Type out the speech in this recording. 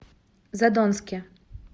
задонске